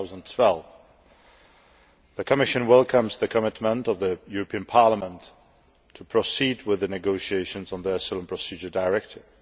2012. The Commission welcomes the commitment of the European Parliament to proceed with the negotiations on the Asylum Procedures Directive.